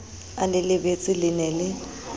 a le lebeletse le ne